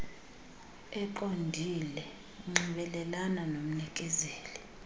eqondile nxibelelana nomnikezeli